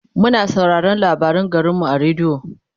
muna sauraraon labarin garinmu a radio